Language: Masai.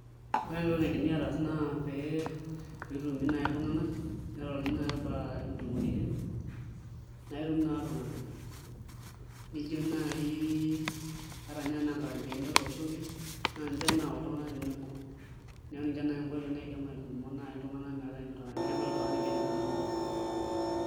Ore entoki naidimi aataas naa pee itutumi naai iltung'anak ning'oruni naai enaa ntumoreitin naittutum naai iltung'anak ata ninye enaa nkarambeeni etuunoki naa ninche naayau iltung'anak tenebo, neeku ninche naai nkoitoi naidim aitutumo iltung'anak metaa epoita naa iltung'anak tenkeju nabo.